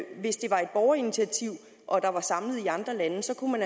hvis det var et borgerinitiativ og der var samlet underskrifter i andre lande også kunne